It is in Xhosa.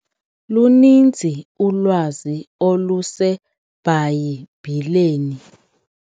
Luninzi ulwazi oluseBhayibhileni.